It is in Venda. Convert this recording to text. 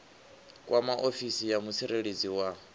kwama ofisi ya mutsireledzi wa